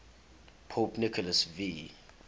pope nicholas v